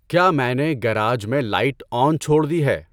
کیا میں نے گیراج میں لائٹ آن چھوڑ دی ہے؟